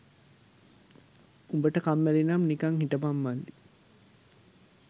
උඹට කම්මැලිනම් නිකන් හිටපන් මල්ලි